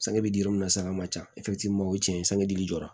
Sange bɛ di yɔrɔ min na sa a man ca o ye tiɲɛ ye sanji jɔra